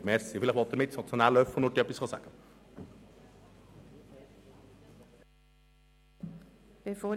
Vielleicht möchte Mitmotionär Löffel noch etwas ergänzen.